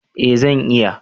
Eh zan iya